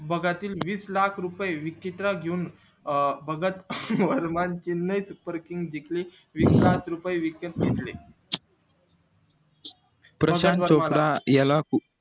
वीस लाख रुपये विकीतले घेऊन अं भगत वर्मान चिन्हे वीस लाख रुपये विकत घेतले